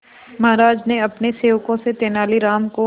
महाराज ने अपने सेवकों से तेनालीराम को